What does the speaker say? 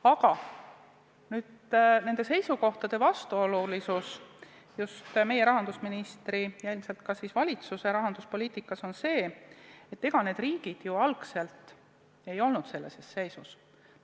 Aga seisukohtade vastuolulisus just meie rahandusministri ja ilmselt ka siis valitsuse rahanduspoliitikas on see, et ega need riigid ju algul ei olnud sellises seisus.